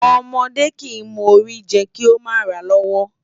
Ọmọdé kìí mọ Ori jẹ kí ó mà ràa lọ́wọ́